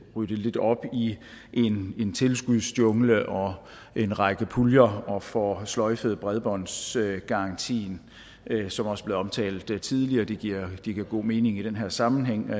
ryddet lidt op i en tilskudsjungle og en række puljer og får sløjfet bredbåndsgarantien som også omtalt tidligere det giver god mening i den her sammenhæng og